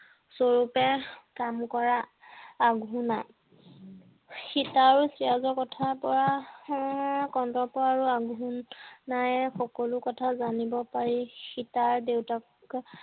সৰুতে কাম কৰা আঘোনা সীতা আৰু চিৰাজৰ কথাৰ পৰা উম কন্দৰ্প আৰু আঘোনাই সকলো কথা জানিব পাৰি সীতাৰ দেউতাক